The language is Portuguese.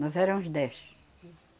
Nós éramos dez.